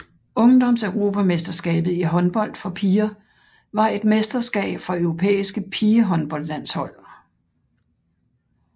Ungdomseuropamesterskabet i håndbold for piger var et mesterskab for europæiske pigehåndboldlandshold